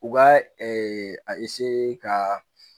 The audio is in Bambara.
U k'a a ka